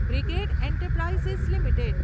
brigade Enterprises limited